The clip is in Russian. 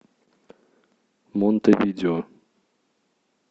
монтевидео